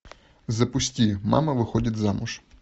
запусти мама выходит замуж